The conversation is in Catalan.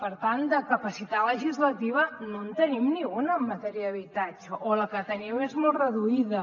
per tant de capacitat legislativa no en tenim ni una en matèria d’habitatge o la que tenim és molt reduïda